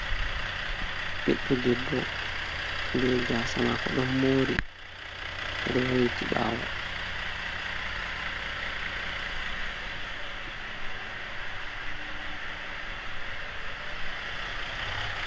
Ɓiɗo debbo be gasa mako ɗon mori o do wayliti bawo.